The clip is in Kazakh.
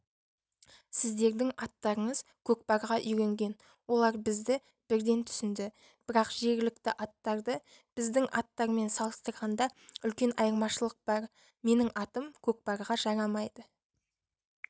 сіздердің аттарыңыз көкпарға үйренген олар бізді бірден түсінді бірақ жергілікті аттарды біздің аттармен салыстырғанда үлкен айырмашылық бар менің атым көкпарға жарамайды